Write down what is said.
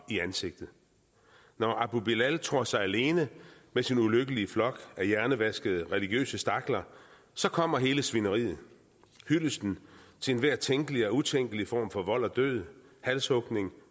i ansigtet når abu bilal tror sig alene med sin ulykkelige flok af hjernevaskede religiøse stakler så kommer hele svineriet hyldesten til enhver tænkelig og utænkelig form for vold og død halshugning